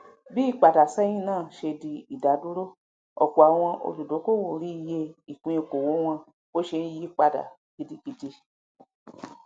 bí ìpadàsẹhìn náà ṣe di ìdádúró ọpọ àwọn olùdókòwò rí iyẹ ìpín okòwò wọn bó ṣe ńyí padà gidigidi